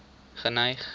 geneig